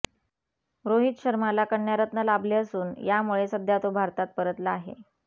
रोहित शर्माला कन्यारत्न लाभले असून यामुळे सध्या तो भारतात परतला आहे